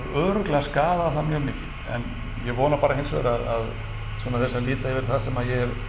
örugglega skaðað það mjög mikið en ég vona bara hins vegar að svona þeir sem líta yfir það sem ég hef